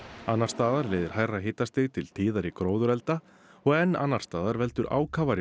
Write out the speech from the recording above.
annars staðar leiðir hærra hitastig til tíðari gróðurelda og enn annars staðar veldur ákafari